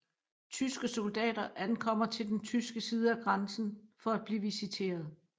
Tyske soldater ankommer til den tyske side af grænsen for at blive visiteret